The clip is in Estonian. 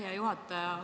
Hea juhataja!